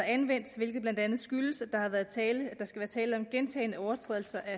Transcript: anvendt hvilket blandt andet skyldes at der skal være tale om gentagne overtrædelser af